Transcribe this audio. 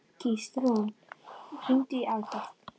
Gíslrún, hringdu í Alberg.